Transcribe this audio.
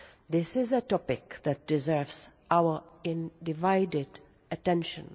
This is a topic that deserves our undivided attention.